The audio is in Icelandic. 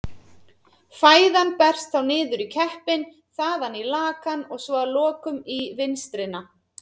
Fæðan berst þá niður í keppinn, þaðan í lakann og svo að lokum í vinstrina.